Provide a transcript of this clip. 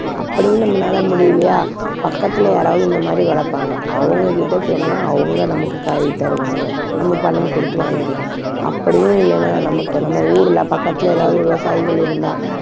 அப்படியும் நம்மளால முடியலையா பக்கத்துல யாராவது இந்த மாதிரி வளர்ப்பாங்க அவங்க கிட்ட சொன்னா அவங்க நமக்குக் காய் தருவாங்க. நம்ம பணம் கொடுத்து வாங்கிக்கலாம். அப்படியும் இல்லன்னா நமக்கு நம்ம ஊர்ல பக்கத்தில எதாவது விவசாயிகள் இருந்தா